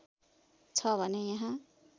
छ भने यहाँ